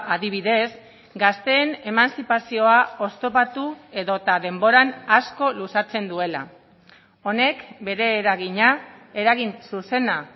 adibidez gazteen emantzipazioa oztopatu edota denboran asko luzatzen duela honek bere eragina eragin zuzena